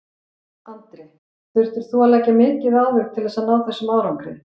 Andri: Þurftir þú að leggja mikið á þig til þess að ná þessum árangri?